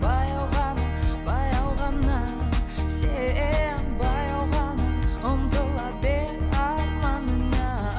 баяу ғана баяу ғана сен баяу ғана ұмтыла бер арманыңа